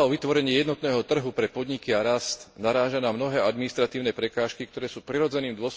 o vytvorenie jednotného trhu pre podniky a rast naráža na mnohé administratívne prekážky, ktoré sú prirodzeným dôsledkom toho, že sa podnikateľské prostredie v členských štátoch vyvíjalo oddelene v rozdielnych etapách a podmienkach.